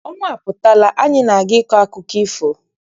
Ọnwa aputala, anyị na-aga ịkọ akụkọ ifo.